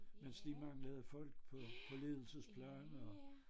Mens de manglede folk på ledelsesplan og